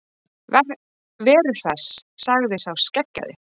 Veru Hress, sagði sá skeggjaði.